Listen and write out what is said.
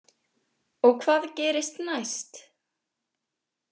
Og hvað gerist næst?